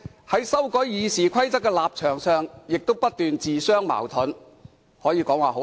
在修改《議事規則》一事上，反對派的立場亦經常自相矛盾，可謂醜態百出。